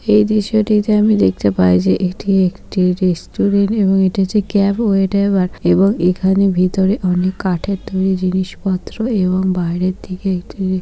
এই দৃশ্যটিতে আমি দেখতে পাই যে এটি একটি রেস্টুরেন্ট এবং এটি হচ্ছে ক্যাব এটা এবারএবং এখানে ভিতরে অনেক কাঠের তৈরী জিনিসপত্র এবং বাইরের দিকে এক--